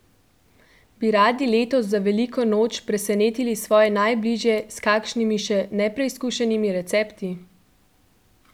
Bi radi letos za veliko noč presenetili svoje najbližje s kakšnimi še nepreizkušenimi recepti?